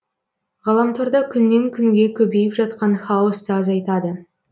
ғаламторда күннен күнге көбейіп жатқан хаосты азайтады